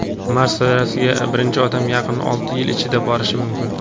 Mars sayyorasiga birinchi odam yaqin olti yil ichida borishi mumkin.